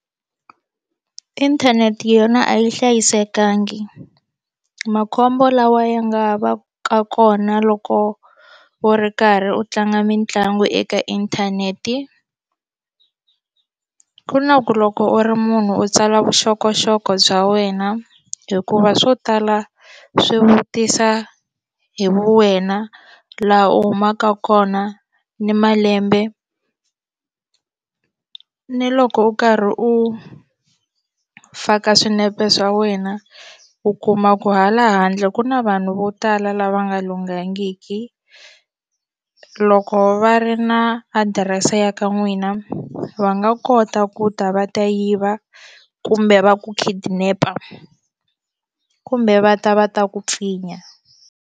Inthanete yona a yi hlayisekangi makhombo lawa ya nga va ka kona loko wo ri karhi u tlanga mitlangu eka inthanete ku na ku loko u ri munhu u tsala vuxokoxoko bya wena hikuva swo tala swi vutisa hi wena laha u humaka kona ni malembe ni loko u karhi u faka swinepe swa wena u kuma ku hala handle ku na vanhu vo tala lava nga lunghangiki loko va ri na adirese ya ka n'wina va nga kota ku ta va ta yiva kumbe va ku kidnap-a kumbe va ta va ta ku pfinya.